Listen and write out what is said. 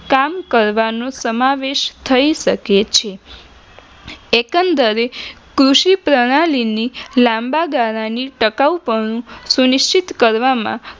કામ કરવાનું સમાવેશ થઇ શકે છે એકંદરે કૃષિ પ્રણાલીની લાંબા ગાળાની ટકાઉ પદ્ધતિ સુનિશ્ચિત કરવામાં